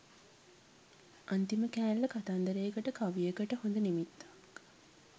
අන්තිම කෑල්ල කතන්දරයකට කවියකට හොඳ නිමිත්තක්